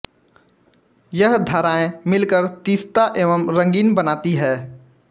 यह धारायें मिलकर तीस्ता एवं रंगीत बनाती हैं